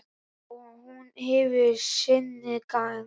Og hún hefur sinn gang.